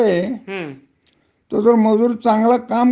नाहीतर त्याला कामावरन काढून टाकला जात.